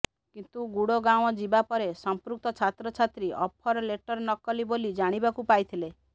କିନ୍ତୁ ଗୁଡଗାଁଓ ଯିବା ପରେ ସଂପୃକ୍ତ ଛାତ୍ରଛାତ୍ରୀ ଅଫର ଲେଟର ନକଲି ବୋଲି ଜାଣିବାକୁ ପାଇଥିଲେ